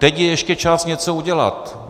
Teď je ještě čas něco udělat.